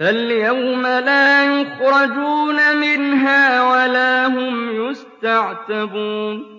فَالْيَوْمَ لَا يُخْرَجُونَ مِنْهَا وَلَا هُمْ يُسْتَعْتَبُونَ